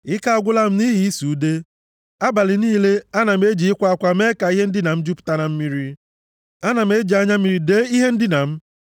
Ike agwụla m nʼihi ịsụ ude. Abalị niile, ana m eji ịkwa akwa mee ka ihe ndina m jupụta na mmiri, ana m eji anya mmiri dee ihe ndina m.